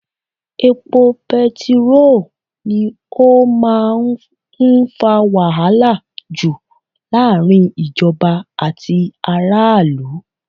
Epo bẹntiróò ni ó máa ń fa wàhálà jù láàrin ìjọba àti aráàlú.